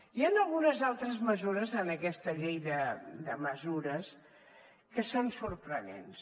hi han algunes altres mesures en aquesta llei de mesures que són sorprenents